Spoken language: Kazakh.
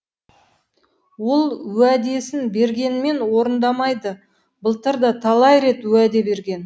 ол уәдесін бергенмен орындамайды былтыр да талай рет уәде берген